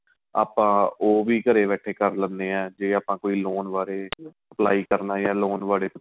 ਆਪਾਂ ਉਹ ਵੀ ਘਰੇ ਬੈਠੇ ਕਰ ਲੈਣੇ ਏ ਜੇ ਆਪਾਂ ਕੋਈ loan ਬਾਰੇ apply ਕਰਨਾ ਏ ਜਾ loan ਬਾਰੇ ਪੁੱਛਣਾ